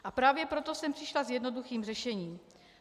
A právě proto jsem přišla s jednoduchým řešením.